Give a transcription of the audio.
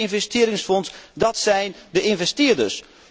En het Chinese investeringsfonds, dát zijn de investeerders.